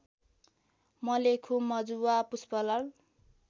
Malekhu Majuwa Pushpalal